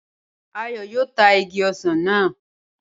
Ayọ̀ yóò ta igi ọsàn náà